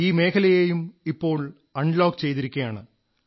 ഈ മേഖലയെയും ഇപ്പോൾ അൺലോക് ചെയ്തിരിക്കയാണ്